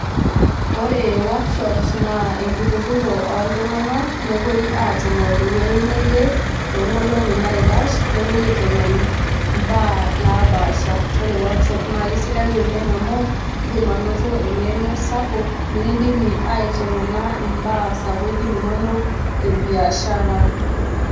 Ore work shops naa enkitururo oltunganak nepuoi atumo tewuei neje toonkolongi naikash nepuoi aitengen mbaa naapaasha .. Ore workshops naa kisidan amu indimanoto engeno sapuk , nikidimi aitengena imbaa sapukin inonok e biashara .